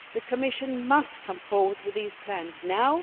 The Commission must come forward with these plans now.